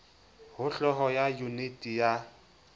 ho hloho ya yuniti ya